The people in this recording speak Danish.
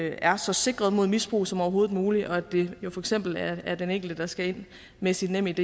er så sikret mod misbrug som overhovedet muligt og at det jo for eksempel er den enkelte der skal ind med sit nemid